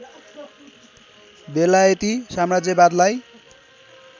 बेलायती साम्राज्यवादलाई